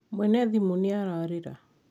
mwene thimũ niararira